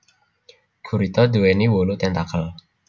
Gurita duwéni wolu tentakel